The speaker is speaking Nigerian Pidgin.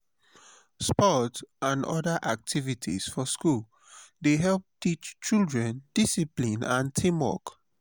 sports n other activities for school dey help teach children discipline and teamwork